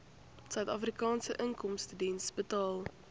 suidafrikaanse inkomstediens betaal